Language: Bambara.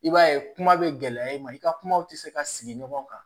I b'a ye kuma bɛ gɛlɛya i ma i ka kumaw tɛ se ka sigi ɲɔgɔn kan